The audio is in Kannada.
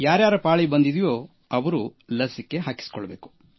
ಯಾರ್ಯಾರ ಪಾಳಿ ಬಂದಿದೆಯೋ ಅವರು ಲಸಿಕೆ ಹಾಕಿಸಿಕೊಳ್ಳಬೇಕು